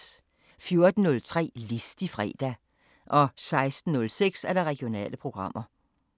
14:03: Listig fredag 16:06: Regionale programmer